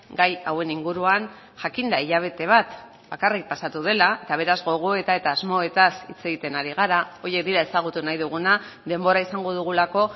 gai hauen inguruan jakinda hilabete bat bakarrik pasatu dela eta beraz gogoeta eta asmoetaz hitz egiten ari gara horiek dira ezagutu nahi duguna denbora izango dugulako